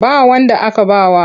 Ba wanda aka ba wa.